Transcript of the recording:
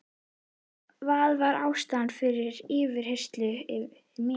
Það var ástæðan fyrir yfirheyrslunni yfir mér.